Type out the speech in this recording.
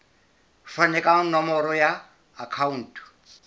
fane ka nomoro ya akhauntu